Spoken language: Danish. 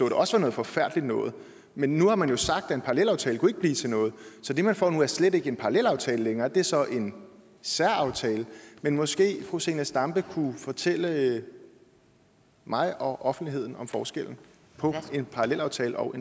det også var noget forfærdeligt noget men nu har man jo sagt at en parallelaftale ikke kunne blive til noget så det man får nu er slet ikke en parallelaftale længere det er så en særaftale men måske kunne fru zenia stampe fortælle mig og offentligheden om forskellen på en parallelaftale og